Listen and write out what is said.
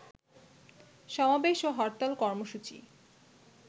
সমাবেশ ও হরতাল কর্মসূচি